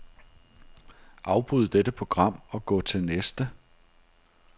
Afbryd dette program og gå til næste.